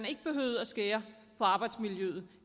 ikke behøvede at skære på arbejdsmiljøet